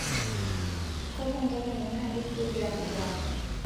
kakwa ntalengo naati progiram ele apa